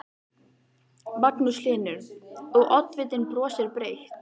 Magnús Hlynur: Og, oddvitinn brosir breytt?